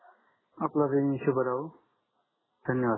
आपला दिन शुभ राहो धन्यवाद सर